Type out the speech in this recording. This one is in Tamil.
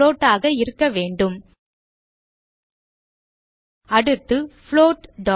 புளோட் ஆக இருக்க வேண்டும் அடுத்து புளோட்